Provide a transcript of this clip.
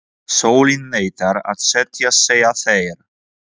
Sólin neitar að setjast, segja þeir.